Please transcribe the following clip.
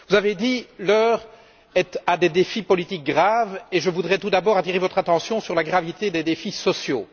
Vous avez dit L'heure est à des défis politiques graves et je voudrais tout d'abord attirer votre attention sur la gravité des défis sociaux.